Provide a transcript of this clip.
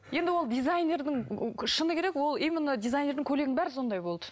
енді ол дизайнердің ыыы шыны керек именно дизайнердің көйлегінің бәрі сондай болды